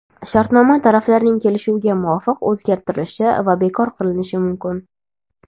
shartnoma taraflarning kelishuviga muvofiq o‘zgartirilishi va bekor qilinishi mumkin.